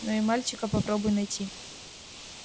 но и мальчика попробуй найти